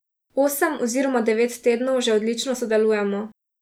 Osem oziroma devet tednov že odlično sodelujemo.